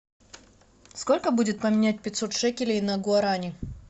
сколько будет поменять пятьсот шекелей на гуарани